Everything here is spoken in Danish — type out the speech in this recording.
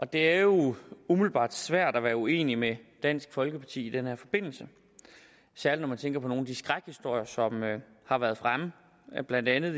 det er jo umiddelbart svært at være uenig med dansk folkeparti i den her forbindelse særlig når man tænker på nogle af de skrækhistorier som har været fremme blandt andet